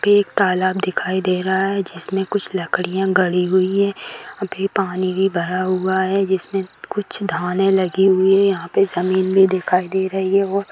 एक तालाब दिखाई दे रहा है जिसमें कुछ लकड़ियाँ गड़ी हुई है अभी पानी भी भरा हुआ है जिसमें कुछ धाने लगी हुई हैं। यहाँ पे जमीन भी दिखाई दे रही है और--